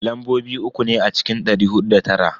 Lambobi uku ne a cikin dari hudu da tara.